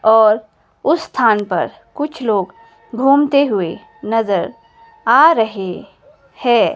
और उस स्थान पर कुछ लोग घूमते हुए नजर आ रहे हैं।